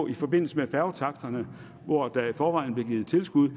i forbindelse med færgetaksterne hvor der i forvejen blev givet tilskud